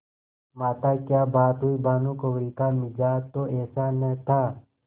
माताक्या बात हुई भानुकुँवरि का मिजाज तो ऐसा न था